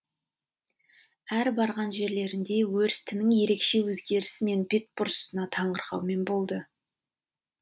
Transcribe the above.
әр барған жерлерінде өрістінің ерекше өзгерісі мен бетбұрысына таңырқаумен болды